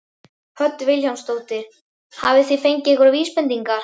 Hödd Vilhjálmsdóttir: Hafið þið fengið einhverjar vísbendingar?